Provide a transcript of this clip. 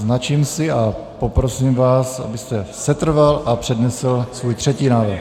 Značím si a poprosím vás, abyste setrval a přednesl svůj třetí návrh.